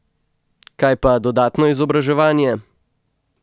Kaj pa dodatno izobraževanje?